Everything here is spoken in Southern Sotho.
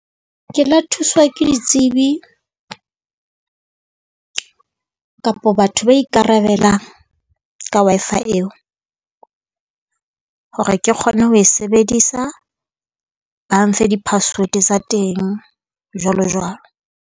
Ke la thuswa ke ditsebi kapo batho ba ikarabelang ka Wi-Fi eo, hore ke kgone ho e sebedisa. Ba mfe di-password tsa teng, jwalo jwalo.